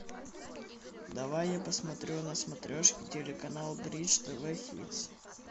давай я посмотрю на смотрешке телеканал бридж тв хитс